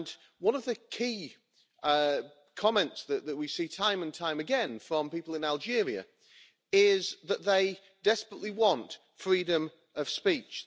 One of the key comments that we see time and time again from people in Algeria is that they desperately want freedom of speech